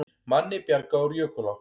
Manni bjargað úr jökulá